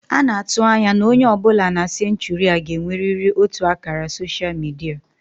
A na-atụ anya na onye ọ bụla na senchuri a ga-enwerịrị otu ákàrà soshal midia